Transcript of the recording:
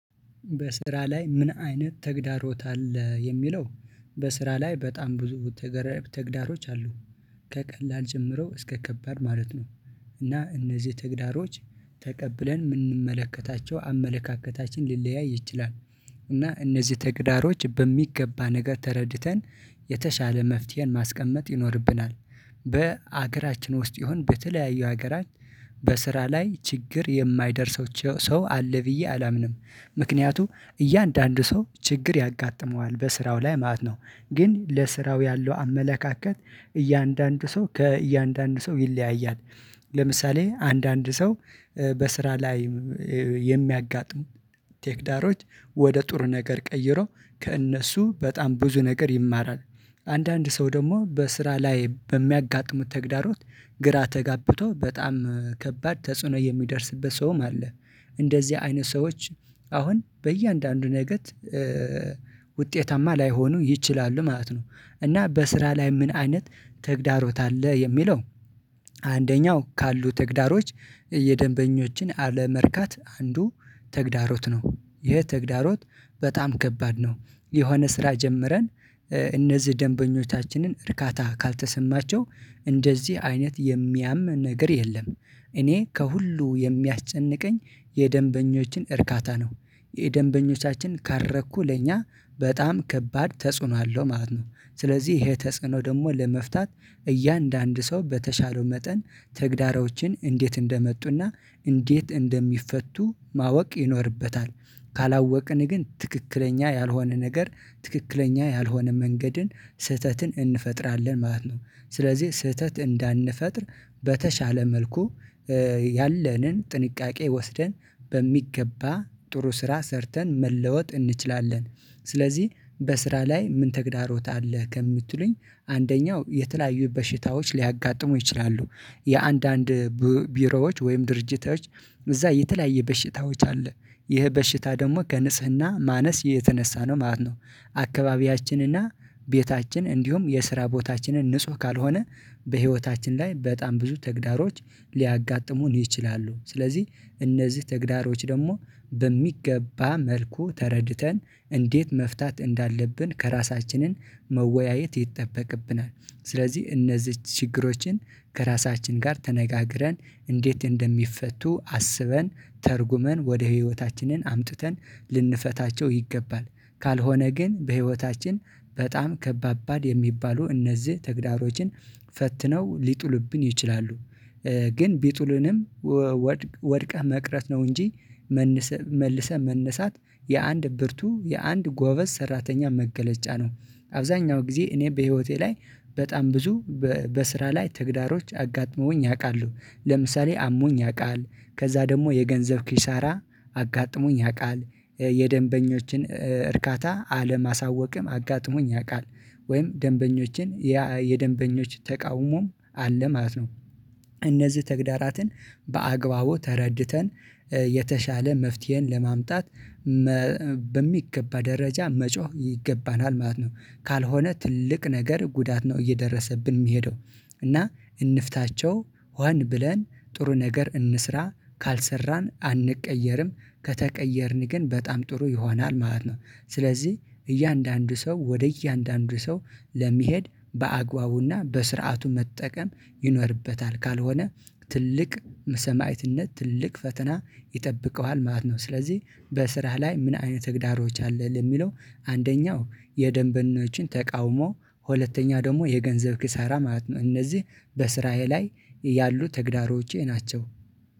በስራ ላይ ምን አይነት ተግዳሮት አለ የሚለው? በስራ ላይ በጣም ብዙ ተግረ ተግዳሮች አሉ። ከቀላል ጀምረው እስከ ከባድ ማለት ነው። እና እነዚህ ተግዳሮች ተቀብለን የምንመለከታቸው አመለካከታችን ሊለያይ ይችላል። እና እነዚህ ተግዳሮች በሚገባ ነገር ተረድተን የተሻለ መፍትሄን ማስቀመጥ ይኖርብናል። በሀገራችን ውስጥ ይሁን በተለያዩ ሀገራት በስራ ላይ ችግር የማይደርሰው ሰው አለ ብዬ አላምንም። ምክንያቱም እያንዳንዱ ሰው ችግር ያጋጥመዋል በስራው ላይ ማለት ነው። ግን ለስራው ያለው አመለካከት እያንዳንዱ ሰው ከእያንዳንዱ ሰው ይለያያል። ለምሳሌ አንዳንድ ሰው በስራ ላይ የሚያጋጥሙ ተግዳሮች ወደ ጥሩ ነገር ቀይሮ ከእነሱ በጣም ብዙ ነገር ይማራል። አንዳንድ ሰው ደግሞ በስራ ላይ በሚያጋጥሙት ተግዳሮት ግራ ተጋብቶ በጣም ከባድ ተጽዕኖ የሚደርስበት ሰውም አለ። እንደዚህ አይነት ሰዎች አሁን በእያንዳንዱ ነገር ውጤታማ ላይሆኑ ይችላሉ ማለት ነው። እና በስራ ላይ ምን አይነት ተግዳሮት አለ የሚለው? አንደኛው ካሉ ተግዳሮች የደንበኞችን አለመርካት አንዱ ተግዳሮት ነው። ይሄ ተግዳሮት በጣም ከባድ ነው። የሆነ ስራ ጀምረን እነዚህ ደንበኞቻችንን እርካታ ካልተሰማቸው እንደዚህ አይነት የሚያም ነገር የለም። እኔ ከሁሉ የሚያስጨንቀኝ የደንበኞችን እርካታ ነው። የደንበኞቻችን ካረኩ ለእኛ በጣም ከባድ ተጽዕኖ አለው ማለት ነው። ስለዚህ ይሄ ተጽዕኖ ደግሞ ለመፍታት እያንዳንዱ ሰው በተቻለው መጠን ተግዳሮችን እንዴት እንደመጡና እንዴት እንደሚፈቱ ማወቅ ይኖርበታል። ካላወቅን ግን ትክክለኛ ያልሆነ ነገር ትክክለኛ ያልሆነ መንገድን ስህተትን እንፈጥራለን ማለት ነው። ስለዚህ ስህተት እንዳንፈጥር በተሻለ መልኩ ያለንን ጥንቃቄ ወስደን በሚገባ ጥሩ ስራ ሰርተን መለወጥ እንችላለን። ስለዚህ በስራ ላይ ምን ተግዳሮት አለህ? ከምትሉኝ አንደኛው የተለያዩ በሽታዎች ሊያጋጥሙ ይችላሉ። የአንዳንድ ቢሮዎች ወይም ድርጅቶች እዛ የተለያየ በሽታዎች አሉ። ይህ በሽታ ደግሞ ከንጽህና ማነስ የተነሳ ነው ማለት ነው። አካባቢያችንና ቤታችን እንዲሁም የስራ ቦታችንን ንጹህ ካልሆነ በህይወታችን ላይ በጣም ብዙ ተግዳሮች ሊያጋጥሙን ይችላሉ። ስለዚህ እነዚህ ተግዳሮች ደግሞ በሚገባ መልኩ ተረድተን እንዴት መፍታት እንዳለብን ከራሳችንን መወያየት ይጠበቅብናል። ስለዚህ እነዚህን ችግሮችን ከራሳችን ጋር ተነጋግረን እንዴት እንደሚፈቱ አስበን ተርጉመን ወደ ህይወታችንን አምጥተን ልንፈታቸው ይገባል። ካልሆነ ግን በህይወታችን በጣም ከባባድ የሚባሉ እነዚህ ተግዳሮችን ፈትነው ሊጥሉብን ይችላሉ። ግን ቢጡልንም ወድቀህ መቅረት ነው እንጂ መነሳት መልሰህ መነሳት የአንድ ብርቱ የአንድ ጎበዝ ሰራተኛ መገለጫ ነው። አብዛኛው ጊዜ እኔ በህይወቴ ላይ በጣም ብዙ በስራ ላይ ተግዳሮች አጋጥመውኝ ያውቃሉ። ለምሳሌ አሞኝ ያውቃል ከዛ ደግሞ የገንዘብ ኪሳራ አጋጥሞኝ ያውቃል የደንበኞችን እርካታ አለማሳወቅም አጋጥሞኝ ያውቃል ወይም ደንበኞችን የደንበኞች ተቃውሞም አለ ማለት ነው። እነዚህ ተግዳራትን በአግባቡ ተረድተን የተሻለ መፍትሄን ለማምጣት በሚገባ ደረጃ መጮህ ይገባናል ማለት ነው። ካልሆነ ትልቅ ነገር ጉዳት ነው እየደረሰብን የሚሄደው። እና እንፍታቸው ሆን ብለን ጥሩ ነገር እንስራ ካልሰራን አንቀየርም ከተቀየርን ግን በጣም ጥሩ ይሆናል ማለት ነው። ስለዚህ እያንዳንዱ ሰው ወደ እያንዳንዱ ሰው ለመሄድ በአግባቡና በስርዓቱ መጠቀም ይኖርበታል ካልሆነ ትልቅ ሰማዕትነት ትልቅ ፈተና ይጠብቀዋል ማለት ነው። ስለዚህ በስራህ ላይ ምን አይነት ተግዳሮች አለ ለሚለው? አንደኛው የደንበኞችን ተቃውሞ ሁለተኛ ደግሞ የገንዘብ ኪሳራ ማለት ነው። እነዚህ በስራዬ ላይ ያሉ ተግዳሮቼ ናቸው።